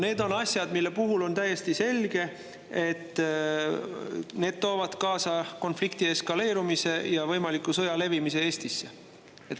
Need on asjad, mille puhul on täiesti selge, et need toovad kaasa konflikti eskaleerumise ja sõja võimaliku levimise Eestisse.